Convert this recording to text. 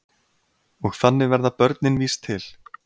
Og þannig verða börnin víst til.